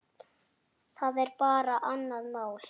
Það er bara annað mál.